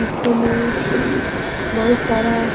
पीछे में बहुत सारा --